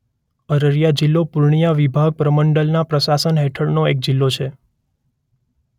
અરરિયા જિલ્લો પૂર્ણિયા વિભાગ પ્રમંડલના પ્રશાસન હેઠળનો એક જિલ્લો છે.